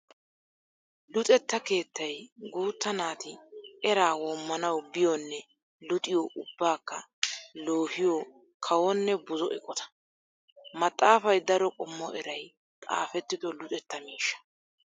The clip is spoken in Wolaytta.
Luxetta keettay guutta naati eraa woommanawu biyonne luxiyo ubbakka loohiyo kawonne buzo eqotta. Maxafay daro qommo eray xaafettido luxetta miishsha.